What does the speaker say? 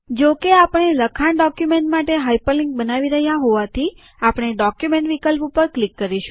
જો કે આપણે લખાણ ડોક્યુમેન્ટ માટે હાઇપરલિન્ક બનાવી રહ્યા હોવાથી આપણે ડોક્યુમેન્ટ વિકલ્પ ઉપર ક્લિક કરીશું